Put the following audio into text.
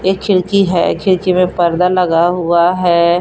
एक खिड़की है खिड़की में पर्दा लगा हुआ है।